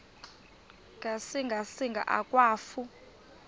ngasinga singa akwafu